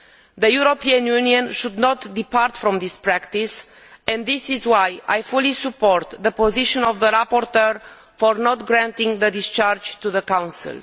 The European Union should not depart from this practice, and this is why I fully support the position of the rapporteur in not granting the discharge to the Council.